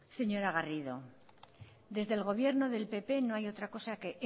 señora garrido desde el gobierno del pp no hay otra cosa que